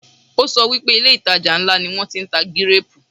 O sọ pé ilé - ìtajà ńlá ni wọn ti ń tà gíréèpù